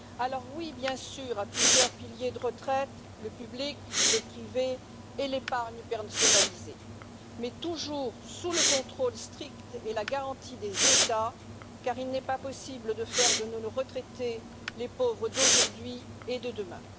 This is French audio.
Alors oui, bien sûr, à plusieurs piliers de retraite le public, le privé et l'épargne personnalisée mais toujours sous le contrôle strict et la garantie des États, car il n'est pas possible de faire de nos retraités les pauvres d'aujourd'hui et de demain.